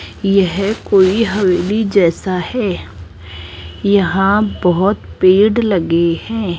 यह कोई हवेली जैसा है यहां बहुत पेड़ लगे हैं।